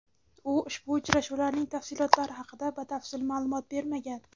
U ushbu uchrashuvlarning tafsilotlari haqida batafsil ma’lumot bermagan.